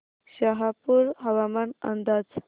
शहापूर हवामान अंदाज